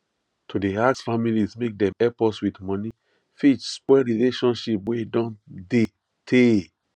to dey ask families make dem help us with money fit spoil relationship wey don dey tey